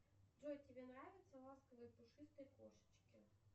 джой тебе нравятся ласковые пушистые кошечки